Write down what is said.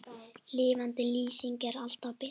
Lifandi lýsing er alltaf betri.